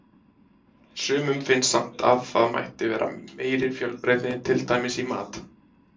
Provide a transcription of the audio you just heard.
Sumum finnst samt að það mætti vera meiri fjölbreytni, til dæmis í mat.